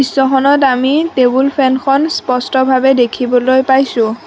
দৃশ্যখনত আমি টেবুল ফেনখন স্পষ্টভাৱে দেখিবলৈ পাইছোঁ।